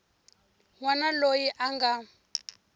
n wana loyi a nga